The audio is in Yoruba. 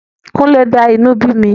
Kúnlé dá inú bí mi.